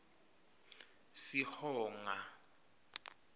sihonga